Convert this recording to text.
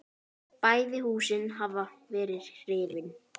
Bæði húsin hafa verið rifin.